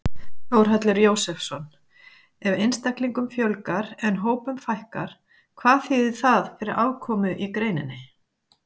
Þórhallur Jósefsson: Ef einstaklingum fjölgar en hópum fækkar, hvað þýðir það fyrir afkomu í greininni?